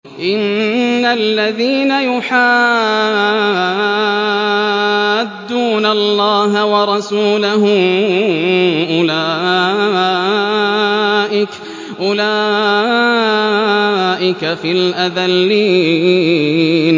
إِنَّ الَّذِينَ يُحَادُّونَ اللَّهَ وَرَسُولَهُ أُولَٰئِكَ فِي الْأَذَلِّينَ